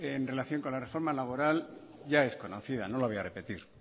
en relación con la reformo laboral ya es conocida no la voy a repetir